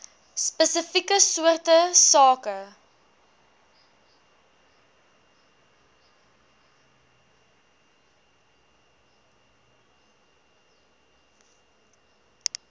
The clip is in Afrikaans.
spesifieke soorte sake